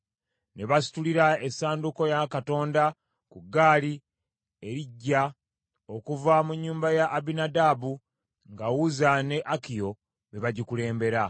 Ne basitulira essanduuko ya Katonda ku ggaali eriggya okuva mu nnyumba ya Abinadaabu, nga Uzza ne Akiyo be bagikulembera.